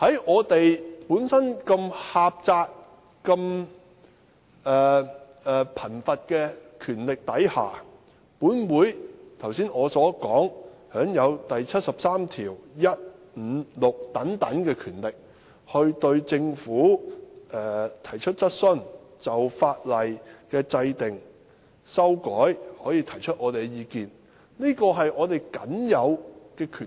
我們本身的權力範疇這麼狹窄，這麼貧乏，剛才我說，《基本法》第七十三條第一、五及六項所賦予本會的權力，可對政府提出質詢，對法律的制定、修改提出意見等，是我們僅有的權力。